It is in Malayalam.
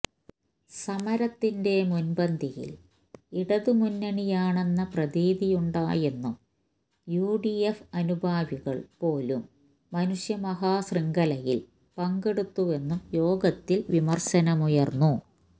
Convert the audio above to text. സമരത്തിന്റെ മുന്പന്തിയില് ഇടതു മുന്നണിയാണെന്ന പ്രതീതിയുണ്ടായെന്നും യുഡിഎഫ് അനുഭാവികള് പോലും മനുഷ്യ മഹാ ശൃംഖലയില് പങ്കെടുത്തുവെന്നും യോഗത്തില് വിമര്ശനമുയര്ന്നു